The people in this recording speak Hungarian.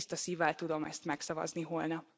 Tiszta szívvel tudom ezt megszavazni holnap.